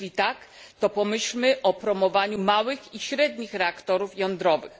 Jeśli tak, to pomyślmy o promowaniu małych i średnich reaktorów jądrowych.